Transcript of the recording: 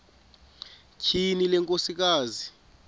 tyhini le nkosikazi